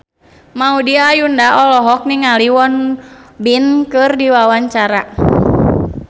Maudy Ayunda olohok ningali Won Bin keur diwawancara